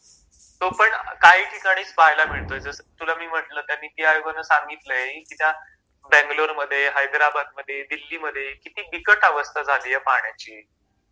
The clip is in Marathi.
तो पण काही ठिकाणीच पाहायला मिळतो जस तुला मी म्हणल त्या निती आयोगान सांगितलय की त्या...बॅगलोर मध्ये हैद्राबाद मध्ये दिल्ली मध्ये किती बिकट अवस्था झालीये पाण्याची